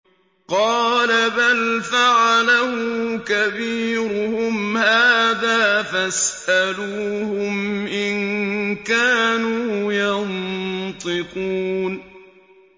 قَالَ بَلْ فَعَلَهُ كَبِيرُهُمْ هَٰذَا فَاسْأَلُوهُمْ إِن كَانُوا يَنطِقُونَ